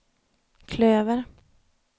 klöver